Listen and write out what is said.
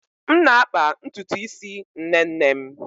M na-akpa ntutu isi nne nne m.